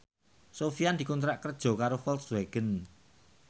Sofyan dikontrak kerja karo Volkswagen